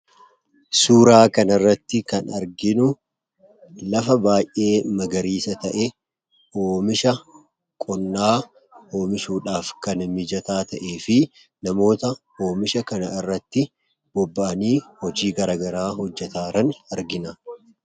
Suuraa kana irratti kan arginu, lafa baayyee magariisa ta'e, oomisha qonnaa oomishuudhaaf kan mijataa ta'ee fi namoota oomisha kana irratti bobba'anii hojii garaagaraa hojjetaa jiran argina.